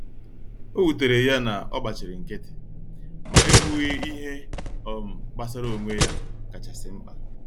Owutere ya na ogbachiri nkiti, ma e kwughi ihe um gbasara onwe ya kacha si mpka.